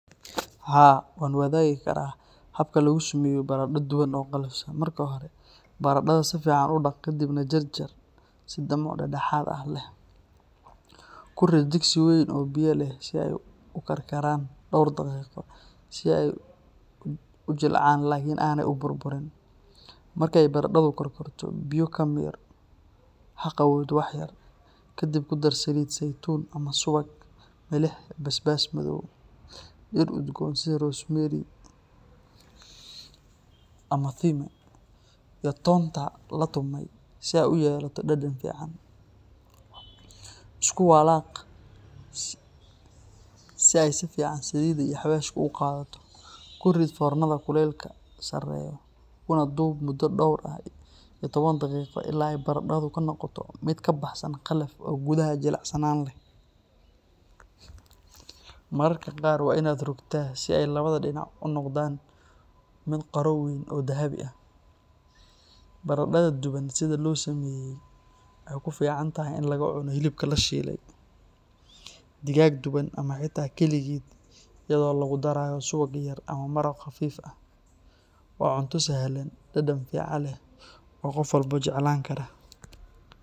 Haa, waan wadaagi karaa habka lagu sameeyo baradho duban oo qallafsan. Marka hore, baradhada si fiican u dhaq kadibna jarjar si dhumuc dhexdhexaad ah leh. Ku rid digsi weyn oo biyo leh si ay u karkaraan dhowr daqiiqo si ay u jilcaan laakin aanay u burburin. Marka ay baradhadu karkarto, biyo ka miir oo ha qabowdo wax yar. Kadib ku dar saliid saytuun ama subag, milix, basbaas madow, dhir udgoon sida rosemary ama thyme, iyo toonta la tumay si ay u yeelato dhadhan fiican. Isku walaaq si ay si fiican saliidda iyo xawaashka u qaadato. Ku rid foornada kulaylkeedu sareeyo, kuna dub mudo dhowr iyo toban daqiiqo ilaa ay baradhadu ka noqoto mid ka baxsan qallafsan oo gudaha jilicsan leh. Mararka qaar waa inaad rogtaa si ay labada dhinac u noqdaan mid qaro weyn oo dahabi ah. Baradhada duban sidan loo sameeyay waxay ku fiican tahay in lagu cuno hilibka la shiilay, digaag duban, ama xitaa kaligeed iyadoo lagu daray suugo yar ama maraq khafiif ah. Waa cunto sahlan, dhadhan fiican leh oo qof walba jeclaan karo.